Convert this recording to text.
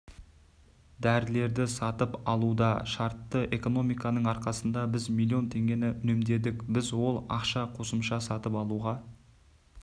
дәрілерді сатып алуда шартты экономияның арқасында біз миллион теңге үнемдедік біз ол ақша қосымша сатып алуға